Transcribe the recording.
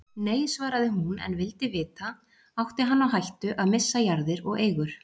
Nei, svaraði hún en vildi vita: Átti hann á hættu að missa jarðir og eigur?